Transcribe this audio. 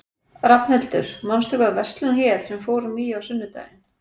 Rafnhildur, manstu hvað verslunin hét sem við fórum í á sunnudaginn?